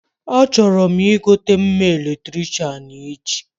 Achọrọ m igote mma Eletricịanechi